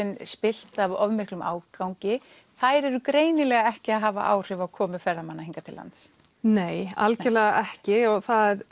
spillt af of miklum ágangi það er greinilega ekki að hafa áhrif á komu ferðamanna hingað til lands nei algerlega ekki og